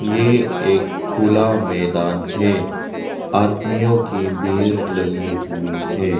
ये एक खुला मैदान है आदमियों की वीर लगी हुई है।